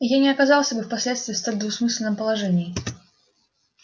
и я не оказался бы впоследствии в столь двусмысленном положении